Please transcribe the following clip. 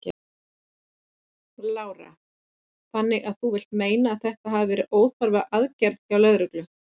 Lára: Þannig að þú vilt meina að þetta hafi verið óþarfa aðgerð hjá lögreglu?